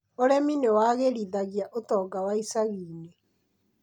Ũrĩmi nĩ wagĩrithagia ũtonga wa ĩcagi-inĩ.